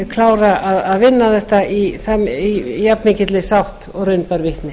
klára að vinna þetta í jafnmikilli sátt og raun bar vitni